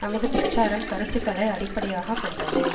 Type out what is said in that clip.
நமது பிரச்சாரம் கருத்துக்களை அடிப்படையாக கொண்டது